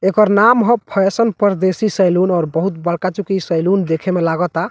एकर नाम ह fashion Pardesi salon और बहुत बड़का चुकी इ सैलून देखे में लागता।